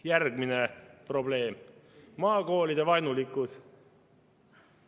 Järgmine probleem on maakoolivaenulikkus.